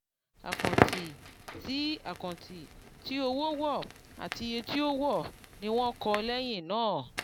àkáǹtì tí àkáǹtì tí owó wọ̀ àti iye tí ó wọ̀ọ́ ni wọ́n kọ́ lẹ́yìn náà.